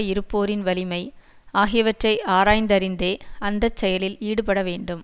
இருப்போரின் வலிமை ஆகியவற்றை ஆராய்ந்தறிந்தே அந்த செயலில் ஈடுபட வேண்டும்